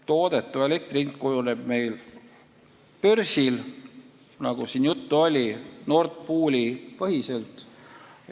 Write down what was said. Toodetava elektri hind kujuneb meil börsil, nagu siin juttu oli, Nord Pooli põhiselt.